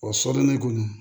O soden kɔni